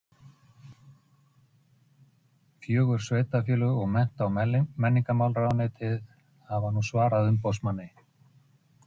Línbjörg, hvernig kemst ég þangað?